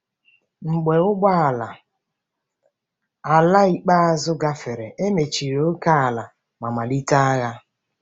Mgbe ụgbọ ala ala ikpeazụ gafere, e mechiri ókèala ma malite agha.